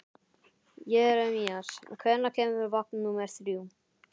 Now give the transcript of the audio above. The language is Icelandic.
Jeremías, hvenær kemur vagn númer þrjú?